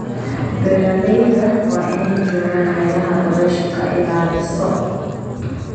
Beeralayda waa inay joogaan meelaha dabayshu ka ilaaliso.